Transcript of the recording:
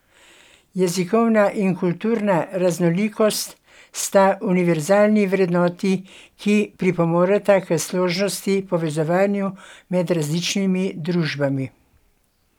Jezikovna in kulturna raznolikost sta univerzalni vrednoti, ki pripomoreta k složnosti in povezovanju med različnimi družbami.